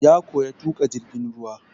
Ya koya tuƙa jirgin ruwa.